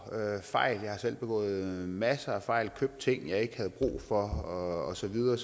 fejl jeg har selv begået masser af fejl købt ting jeg ikke havde brug for og så videre